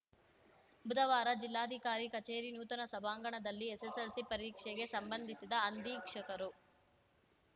ಬುಧವಾರ ಜಿಲ್ಲಾಧಿಕಾರಿ ಕಚೇರಿ ನೂತನ ಸಭಾಂಗಣದಲ್ಲಿ ಎಸ್‌ಎಸ್‌ಎಲ್‌ಸಿ ಪರೀಕ್ಷೆಗೆ ಸಂಬಂಧಿಸಿದ ಅಂಧೀಕ್ಷಕರು